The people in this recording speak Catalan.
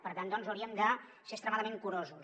per tant doncs hauríem de ser extremadament curosos